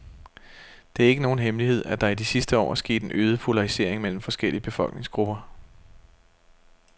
Det er ikke nogen hemmelighed, at der i de sidste år er sket en øget polarisering mellem forskellige befolkningsgrupper.